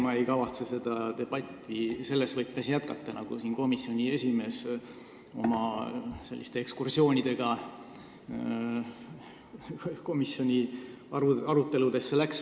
Ma ei kavatse seda debatti selles võtmes jätkata, nagu seda tegi komisjoni esimees oma ekskursioonidel komisjoni aruteludesse.